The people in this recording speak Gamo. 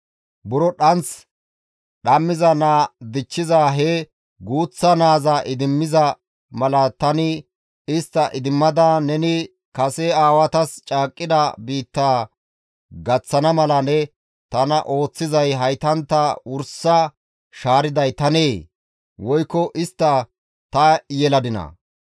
Buro dhanth dhammiza naa dichchiza he guuththa naaza idimmiza mala tani istta idimmada neni kase aawatas caaqqida biittaa gaththana mala ne tana ooththizay haytantta wursa shaariday tanee? Woykko istta ta yeladinaa?